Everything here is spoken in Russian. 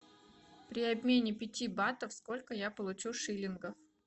при обмене пяти батов сколько я получу шиллингов